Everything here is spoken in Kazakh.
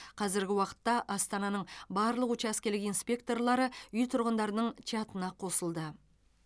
қазіргі уақытта астананың барлық учаскелік инспекторлары үй тұрғындарының чатына қосылды